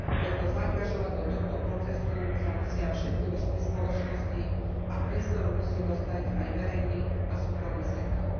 Preto zaangažovať do tohto procesu sa musia všetky vrstvy spoločnosti a priestor musí dostať aj verejný a súkromný sektor.